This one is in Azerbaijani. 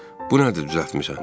Bu nədir düzəltmisən?